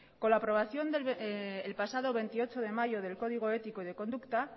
con la aprobación el pasado veintiocho de mayo del código ético y de conducta